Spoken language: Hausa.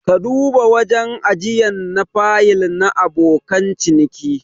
Ka duba wajen ajiyan na fayil na abokan ciniki.